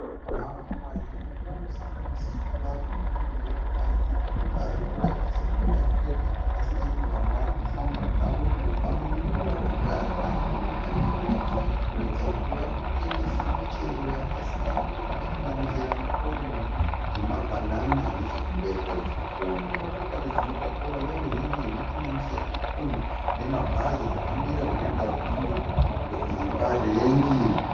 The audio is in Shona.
Vanhu vazhinji vanosanganisira varume nevakadzi vari kuratidza kuti vari kuita zvakasiyana .Vamwe vari kufamba zvavo vamwe ndivo vakagara vamwe vakamira vachiratidza kuti vari kutengesa michero yakasiyana inosanganisira maorenji nemabhanana. Nechokumberi kwacho tiri kuona motokari dzinotakura veruzhinji dzinosanganisira makombi nemabhazi zvakamira zvinoita kuti tifunge kuti nzvimbo iyi parengi.